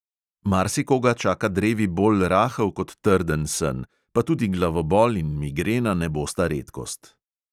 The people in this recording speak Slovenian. Marsikoga čaka drevi bolj rahel kot trden sen, pa tudi glavobol in migrena ne bosta redkost.